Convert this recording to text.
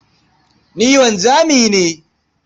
Ni wanzami ne.